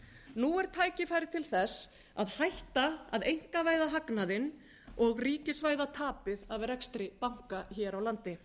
nú er tækifæri til þess að hætta að einkavæða hagnaðinn og ríkisvæða tapið af rekstri banka hér á landi